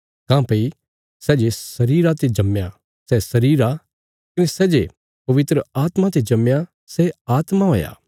मातापिता अपणे बच्चयां जो जन्म दें फेरी बी सिर्फ परमेशरा रा आत्मा तुहांजो परमेशरा रिया सन्तान्ना रे रूपा च बदली सक्कां